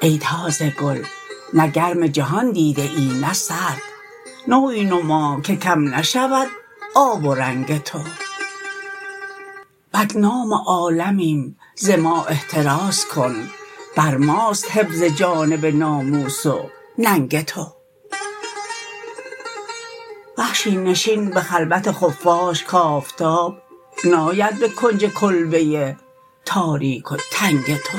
ای تازه گل نه گرم جهان دیده ای نه سرد نوعی نما که کم نشود آب و رنگ تو بدنام عالمیم ز ما احتراز کن بر ماست حفظ جانب ناموس و ننگ تو وحشی نشین به خلوت خفاش ک آفتات ناید به کنج کلبه تاریک و تنگ تو